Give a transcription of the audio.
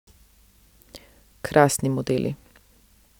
Krasni modeli.